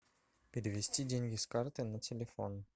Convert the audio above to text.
перевести деньги с карты на телефон